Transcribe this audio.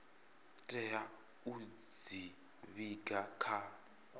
tea u dzi vhiga kha